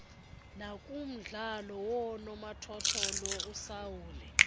nakumdlalo woonomathotholo usaule